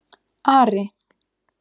Ari